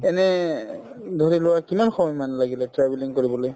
এনে উম ধৰিলোৱা কিমান সময়মানে লাগিলে travelling কৰিবলে